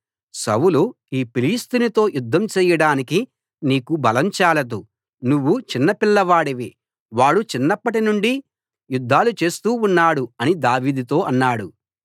సౌలు ఈ ఫిలిష్తీయునితో యుద్ధం చేయడానికి నీకు బలం చాలదు నువ్వు చిన్న పిల్లవాడివి వాడు చిన్నప్పటినుండి యుద్దాలు చేస్తూ ఉన్నాడు అని దావీదుతో అన్నాడు